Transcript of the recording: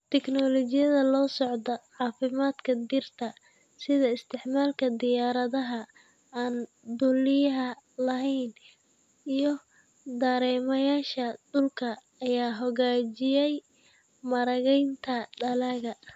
Tignoolajiyada la socodka caafimaadka dhirta, sida isticmaalka diyaaradaha aan duuliyaha lahayn iyo dareemayaasha dhulka, ayaa hagaajiyay maaraynta dalagga.